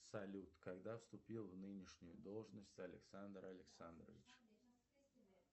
салют когда вступил в нынешнюю должность александр александрович